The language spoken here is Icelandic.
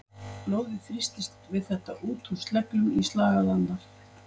Blóðið þrýstist við þetta úr sleglum í slagæðarnar.